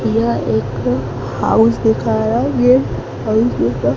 यह एक हाउस दिखा रहा ये हाउस जैसा--